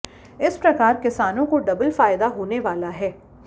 इस प्रकार किसानों को डबल फायदा होने वाला है